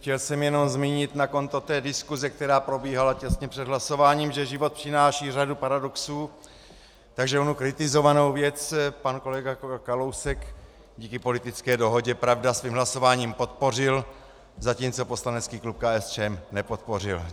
Chtěl jsem jenom zmínit na konto té diskuse, která probíhala těsně před hlasováním, že život přináší řadu paradoxů, takže onu kritizovanou věc pan kolega Kalousek díky politické dohodě - pravda - svým hlasováním podpořil, zatímco poslanecký klub KSČM nepodpořil.